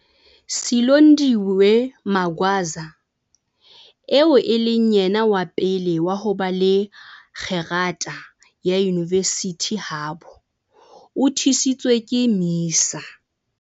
Silondiwe Magwaza, eo e leng yena wa pele wa ho ba le kgerata ya yunivesithi habo, o thusitswe ke MISA.